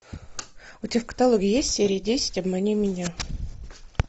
у тебя в каталоге есть серия десять обмани меня